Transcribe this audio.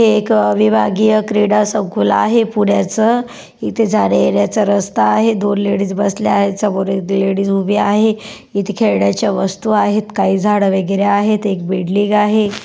हे एक विभागीय क्रीडा संकुल आहे पुण्याच इथे जाण्या-येण्याचा रस्ता आहे दोन लेडीज बसल्या आहे समोर एक लेडीज उभी आहे इथे खेळण्याच्या वस्तु आहेत काही झाड वगैरे आहेत एक बिल्डिंग आहे.